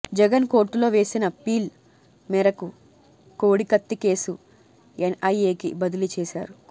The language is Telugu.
జగన్ కోర్టులో వేసిన పిల్ మేరకు కోడికత్తి కేసు ఎన్ఐఏకి బదిలీ చేశారు